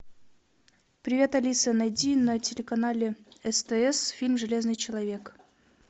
привет алиса найди на телеканале стс фильм железный человек